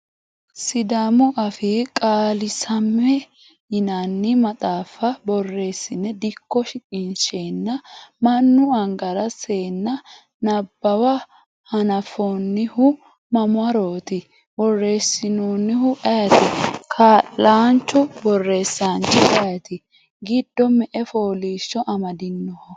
Sidaamu afii qaalisamme yinanni maxaafa borrosine dikko shiqqinsenna mannu angara senna nabbawa hananfonihu mamaroti ? Borreessinohu ayiiti, Kaa'lanchu borreessanchi ayeeti, giddo me"e fooliishsho amadinoho.